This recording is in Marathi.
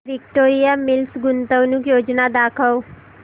विक्टोरिया मिल्स गुंतवणूक योजना दाखव